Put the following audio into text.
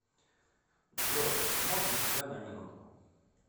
джой можно тебя на минутку